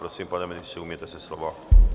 Prosím, pane ministře, ujměte se slova.